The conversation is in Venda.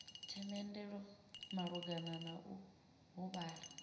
themendelo malugana na u huvhala